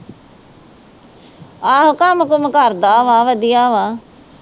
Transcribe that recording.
ਆਹੋ ਕੰਮ-ਕੁਮ ਕਰਦਾ ਵਾ ਵਧੀਆ ਵਾ